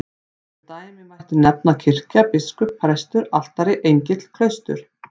Sem dæmi mætti nefna kirkja, biskup, prestur, altari, engill, klaustur.